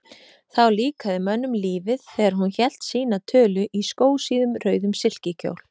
Þá líkaði mönnum lífið, þegar hún hélt sína tölu, í skósíðum, rauðum silkikjól.